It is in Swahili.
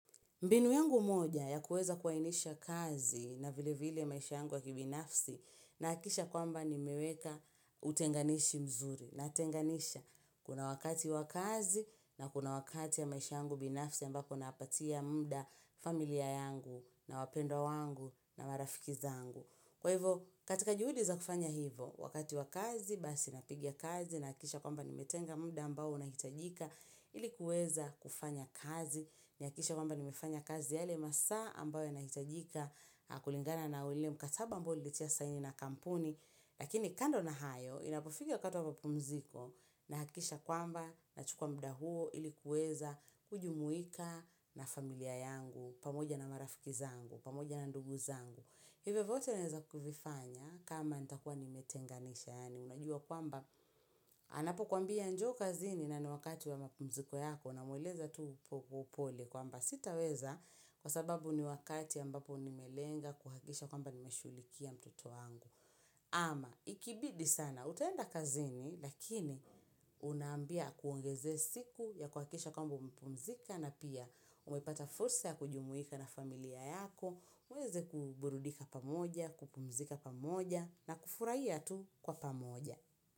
Mbinu yangu moja ya kuweza kuainisha kazi na vile vile maisha yangu wa kibinafsi na akisha kwamba nime weka utenganishi mzuri. Na tenganisha kuna wakati wa kazi na kuna wakati ya maisha yangu binafsi ambapo napatia mda familia yangu na wapendo wangu na marafikiza yangu. Kwa hivo katika juhudi za kufanya hivo wakati wa kazi basi na piga kazi na akisha kwamba ni metenga mda ambao na hitajika ilikuweza kufanya kazi. Ni hakikishe kwamba nime fanya kazi yale masaa ambayo yana hitajika kulingana na ule mkataba ambao nilitia saini na kampuni Lakini kando na hayo inapofika wakati wa mpumziko na hakisha kwamba na chukuwa mda huo ilikuweza kujumuika na familia yangu pamoja na marafiki zangu, pamoja na ndugu zangu Hivo vote neza kufifanya kama nitakuwa nimetenga nisha Yani unajua kwamba anapo kuambia njoo kazini na ni wakati wa mpumziko yako una mweleza tu upole kwamba sitaweza kwa sababu ni wakati ambapo nimelenga kuhakisha kwamba nimeshulikia mtoto wangu. Ama ikibidi sana utaenda kazini lakini unambia aku ongeze siku ya kuhakisha kwamba umepumzika na pia umepata fursa ya kujumuika na familia yako. Uweze kuburudika pamoja, kupumzika pamoja na kufurahia tu kwa pamoja.